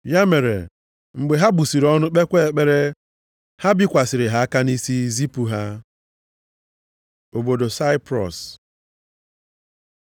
Ya mere, mgbe ha busiri ọnụ kpekwa ekpere, ha bikwasịrị ha aka nʼisi zipụ ha. Obodo Saiprọs